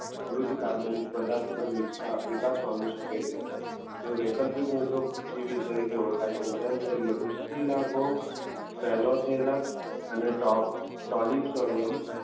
મૃત કાર્બનિક પદાર્થ પર નિર્ભરતા વિકાસ પામી શકે છે તેઓ વૈકલ્પિક વૃદ્ધો જીવી તરીકે ઓળખાય છે. ઉદાહરણ તરીકે સેલોથેલા અને ટોક સોડિયમ